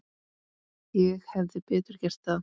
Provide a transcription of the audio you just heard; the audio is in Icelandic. Ég hefði betur gert það.